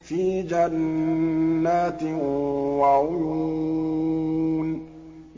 فِي جَنَّاتٍ وَعُيُونٍ